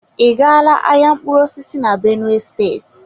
I gala ahịa mkpụrụ osisi na benue state?